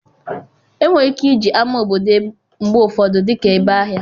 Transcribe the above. Enwere ike iji ámá obodo mgbe ụfọdụ dị ka ebe ahịa.